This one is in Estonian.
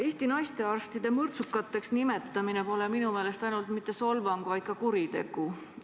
Eesti naistearstide mõrtsukateks nimetamine pole minu meelest ainult mitte solvang, vaid ka kuritegu.